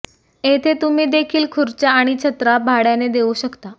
येथे तुम्ही देखील खुर्च्या आणि छत्र्या भाड्याने देऊ शकता